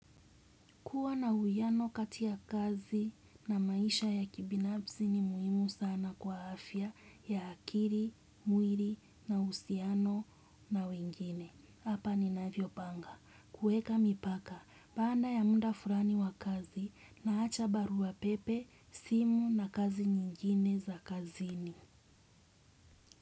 Kuwa na huyano katia kazi na maisha ya kibinafsii ni muhimu sana kwa afya ya akiri, muiri na usiano na wengine. Hapa ni navyo panga. Kueka mipaka, banda ya munda furani wa kazi na hacha baru wa pepe, simu na kazi nyingine za kazini.